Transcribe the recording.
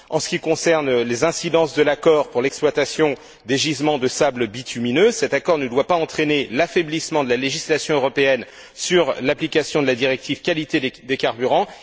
En ce qui concerne les incidences de l'accord pour l'exploitation des gisements de sables bitumineux, cet accord ne doit pas entraîner l'affaiblissement de la législation européenne sur l'application de la directive qualité des carburants.